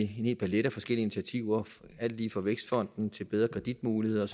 hel palet af forskellige initiativer alt lige fra vækstfonden til bedre kreditmuligheder